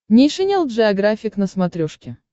нейшенел джеографик на смотрешке